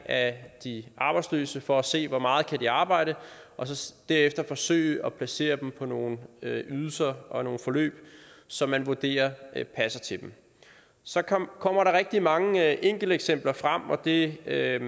af de arbejdsløse rundtomkring for at se hvor meget de kan arbejde og så derefter forsøge at placere dem på nogle ydelser og nogle forløb som man vurderer passer til dem så kommer der rigtig mange enkelteksempler frem og det er jo